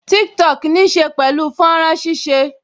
Tiktok níí ṣe pẹ̀lú fọ́nrán ṣíṣe